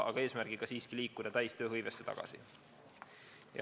Aga eesmärk peab siiski olema liikuda täistööhõivesse tagasi.